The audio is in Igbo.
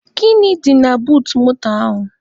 Gịnị dị na buut moto ahụ?